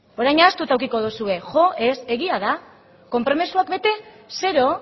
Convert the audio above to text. orain ahaztuta edukiko duzue jo ez egia da konpromezuak bete zero